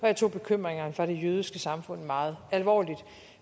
jeg tog bekymringerne fra det jødiske samfund meget alvorligt